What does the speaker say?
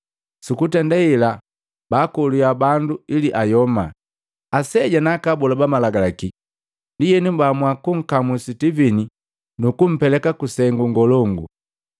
Sukutenda hela baakolakya bandu ili ayoma, aseja na aka abola ba Malagalaki. Ndienu baamua kunkamu Sitivini nukumpeleka kusengu ngolongu.